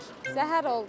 Səhər oldu.